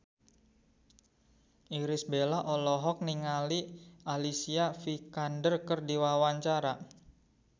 Irish Bella olohok ningali Alicia Vikander keur diwawancara